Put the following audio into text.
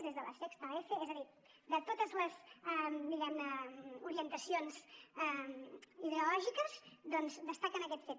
es des de la sexta efe és a dir de totes les diguem ne orientacions ideològiques doncs destaquen aquest fet